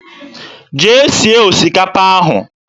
Jee sie osikapa ahụ!